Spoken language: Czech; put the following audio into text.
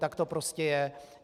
Tak to prostě je.